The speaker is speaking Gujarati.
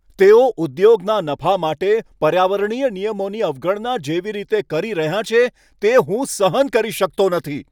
તેઓ ઉદ્યોગના નફા માટે પર્યાવરણીય નિયમોની અવગણના જેવી રીતે કરી રહ્યાં છે, તે હું સહન કરી શકતો નથી.